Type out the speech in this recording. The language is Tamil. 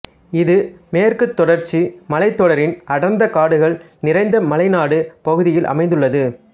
இது மேற்கு தொடர்ச்சி மலைத்தொடரின் அடர்ந்த காடுகள் நிறைந்த மலைநாடு பகுதியில் அமைந்துள்ளது